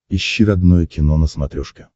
ищи родное кино на смотрешке